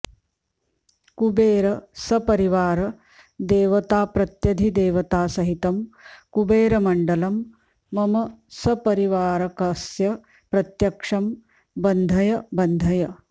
कुबेर सपरिवार देवताप्रत्यधिदेवतासहितं कुबेरमण्डलं मम सपरिवारकस्य प्रत्यक्षं बन्धय बन्धय